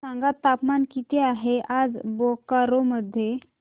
सांगा तापमान किती आहे आज बोकारो मध्ये